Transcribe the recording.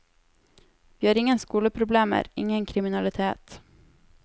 Vi har ingen skoleproblemer, ingen kriminalitet.